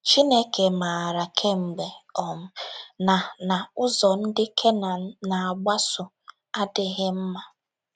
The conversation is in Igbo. Chineke maara kemgbe um na na ụzọ ndị Kenan na - agbaso adịghị mma.